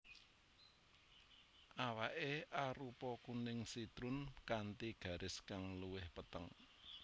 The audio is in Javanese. Awaké arupa kuning sitrun kanthi garis kang luwih peteng